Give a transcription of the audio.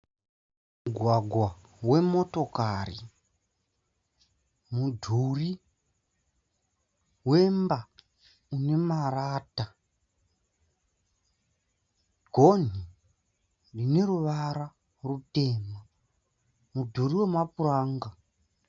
Mugwagwa wemotokari, mudhuri wemba inemarata, goni rineruvara rutema. Mudhuri wemapuranga.